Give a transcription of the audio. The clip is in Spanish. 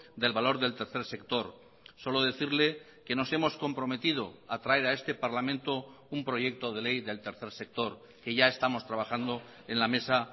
del valor del tercer sector solo decirle que nos hemos comprometido a traer a este parlamento un proyecto de ley del tercer sector que ya estamos trabajando en la mesa